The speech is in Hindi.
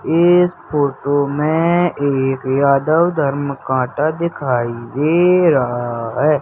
इस फोटो मे एक यादव धर्म कांटा दिखाई दे रहा है।